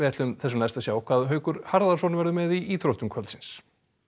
sjá hvað Haukur Harðarson verður með í íþróttum kvöldsins